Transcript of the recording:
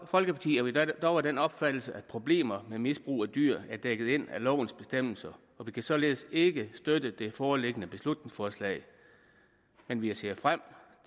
folkeparti er vi dog af den opfattelse at problemer med misbrug af dyr er dækket ind af lovens bestemmelser og vi kan således ikke støtte det foreliggende beslutningsforslag men vi ser frem